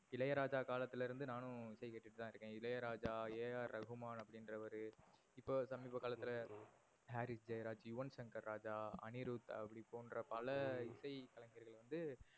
இளையராஜா காலத்துல இருந்து நானும் இசை கேட்டுட்டு தான் இருக்கன். இளையராஜா, அ. ர. ரகுமான் அப்டினுரவரு. இப்ப சமிப காலத்துல ஹம் ஹாரிஸ் ஜெயராஜ், யுவன் சங்கர் ராஜா, அனிருத் அப்டி போன்ற பல இசை கலைஞர்கள் வந்து